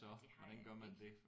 Det har jeg jo ikke